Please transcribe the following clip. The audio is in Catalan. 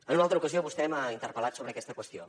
en una altra ocasió vostè m’ha interpel·lat sobre aquesta qüestió